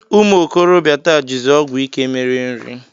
Ụmụ okorobịa taa jizi ọgwụ ike mere nri